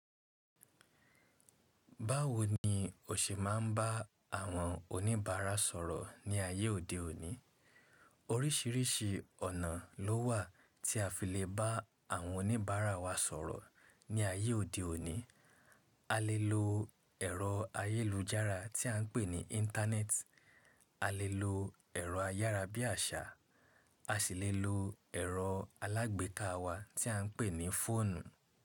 Báwo ni o ṣe máa ń bá àwọn oníbàárà sọ̀rọ̀ ní ayé òde òní? Orísìírísìí ọ̀nà lówà tí a fi lè bá àwọn oníbàárà wa sọ̀rọ̀ ní ayé òde òní. A lè lo ẹ̀rọ ayélujára tí à ń pè ní Íńtánẹ́ẹ̀tì, a lè lo ẹ̀rọ ayára bí àsà, a sì lè lo ẹ̀rọ alágbèka wa tí à ń pè ní fóònù.